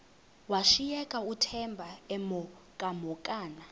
washiyeka uthemba emhokamhokana